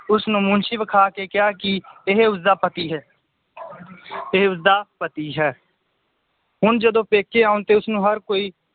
ਉਸਨੂੰ ਮੁਨਸ਼ੀ ਵਿਖਾ ਕੇ ਕਿਹਾ ਕਿ ਇਹ ਉਸਦਾ ਪਤੀ ਹੈ ਇਹ ਉਸਦਾ ਪਤੀ ਹੈ ਹੁਣ ਜਦੋਂ ਪੇਕੇ ਆਉਣ ਤੇ ਉਸਨੂੰ ਹਰ ਕੋਈ